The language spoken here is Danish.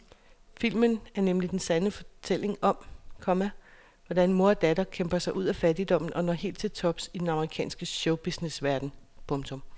Filmen er nemlig den sande fortælling om, komma hvordan mor og datter kæmper sig ud af fattigdommen og når helt til tops i den amerikanske showbusinessverden. punktum